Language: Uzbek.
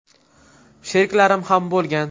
Sheriklarim ham bo‘lgan.